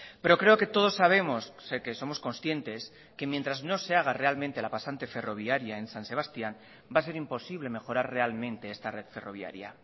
pero creo que todos sabemos sé que somos conscientes que mientras no se haga realmente la pasante ferroviaria en san sebastián va a ser imposible mejorar realmente esta red ferroviaria